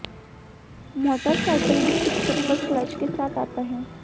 motorcycle भी एक चप्पल क्लच के साथ आता है